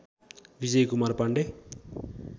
Vijayakumar Pandey